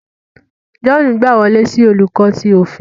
John gba wọle si Oluko ti ofin